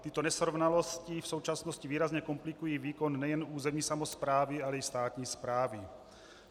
Tyto nesrovnalosti v současnosti výrazně komplikují výkon nejen územní samosprávy, ale i státní správy.